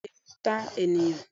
Béèni Ó lè ta ènìyàn